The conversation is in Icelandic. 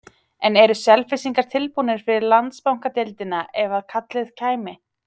En eru Selfyssingar tilbúnir fyrir Landsbankadeildina ef að kallið kæmi?